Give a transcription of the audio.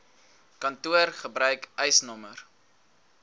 kantoor gebruik eisnr